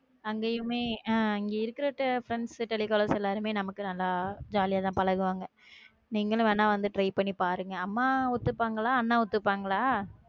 அங்கேயுமே அஹ் இங்கே இருக்கிற friends telecallers எல்லாருமே, நமக்கு நல்லா jolly யா தான் பழகுவாங்க நீங்களும் வேனா வந்து try பண்ணி பாருங்க அம்மா ஒத்துப்பாங்களா அண்ணா ஒத்துபங்களா?